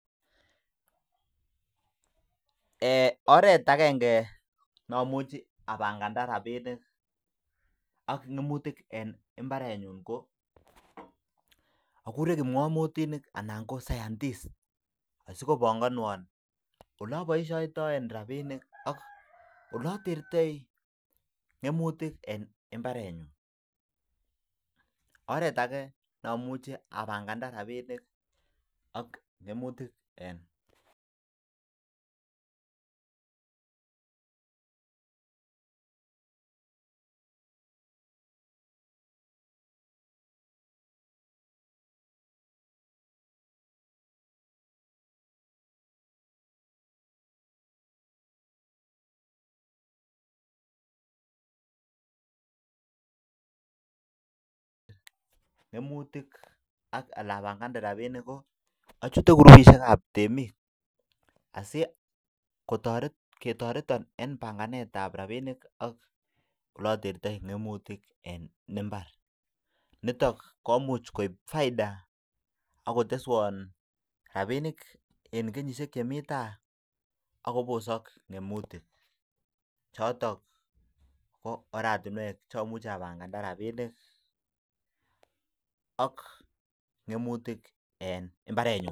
Akuree kimnamutik anan koscientist sikobangwano oleabiishetai rabinik eng mbaret nyuu koraa achute groupishek ab temik siketorto eng banganet ab rabinik